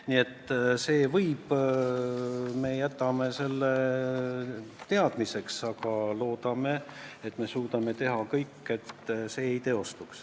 Nii et see võib midagi kaasa tuua ja me võtame selle teadmiseks, aga loodetavasti suudame teha kõik, et halb stsenaarium ei teostu.